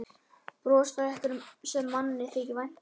Bros frá einhverjum sem manni þykir vænt um.